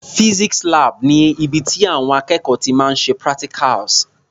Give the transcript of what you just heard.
Physics lab ni ibi tí àwọn akẹ́kọ̀ọ́ ti máa ń ṣe practicals.